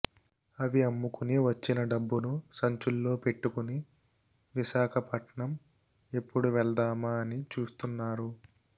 అవి అమ్ముకుని వచ్చిన డబ్బును సంచుల్లో పెట్టుకుని విశాఖపట్నం ఎప్పుడు తీసుకెళ్దామా అని చూస్తున్నారు